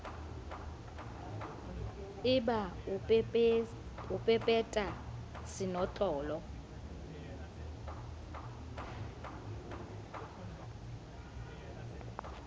e ba o pepeta senotlolo